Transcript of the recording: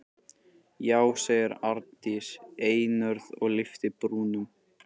Já, segir Arndís einörð og lyftir brúnum.